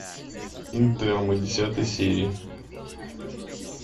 интерны десятая серия